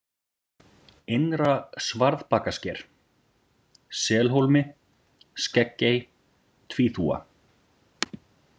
Innra-Svarðbakasker, Selhólmi, Skeggey, Tvíþúfa